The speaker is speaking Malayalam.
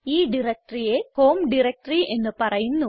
ഈ diectoryയെ ഹോം ഡയറക്ടറി എന്ന് പറയുന്നു